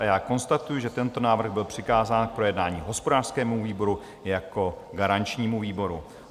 A já konstatuji, že tento návrh byl přikázán k projednání hospodářskému výboru jako garančnímu výboru.